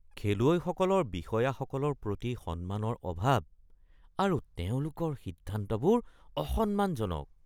খেলুৱৈসকলৰ বিষয়াসকলৰ প্ৰতি সন্মানৰ অভাৱ আৰু তেওঁলোকৰ সিদ্ধান্তবোৰ অসন্মানজনক